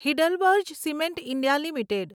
HeidelbergCement India limited